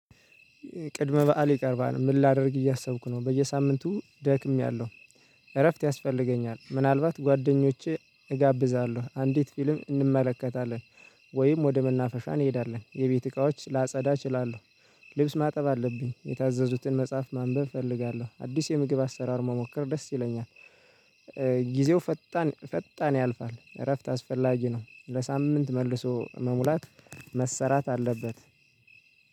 ቅድመ በዓል ይቀርባል። ምን ላደርግ እያሰብኩ ነው፤ በየሳምንቱ ደክሜያለሁ እረፍት ያስፈልገኛል ምናልባት ጓደኞቼ እጋብዛለሁ አንዲት ፊልም እንመለከታለን። ወይም ወደ መናፈሻ እንሄዳለን የቤት እቃዎች ላጸዳ እችላለሁ። ልብስ ማጠብ አለብኝ፣ የታዘዙትን መጽሐፍ ማንበብ እፈልጋለሁ፣ አዲስ የምግብ አሰራር መሞከር ደስ ይለኛል። ጊዜው ፈጣን ፈጣን ያልፋል፤ እረፍት አስፈላጊ ነው። ለሳምንት መልሶ መሙላት መሰራት አለበት።